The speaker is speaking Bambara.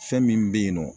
Fɛn min bɛ yen nɔ